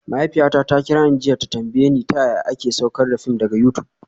Mahaifiyata ta kira ni jiya ta tambaye ni ta yaya za ta iya saukar da fim daga YouTube